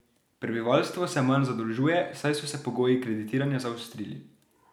Prebivalstvo se manj zadolžuje, saj so se pogoji kreditiranja zaostrili.